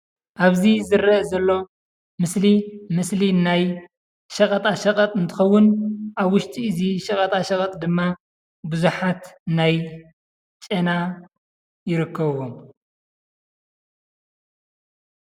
ኣብዚ ዝረአ ዘሎ ምስሊ ምስሊ ናይ ሸቐጣሸቐጥ እንትኸውን ኣብ ውሽጢ እዚ ሸቐጣሸቐጥ ድማ ብዙሓት ናይ ጨና ይርከብዎም፡፡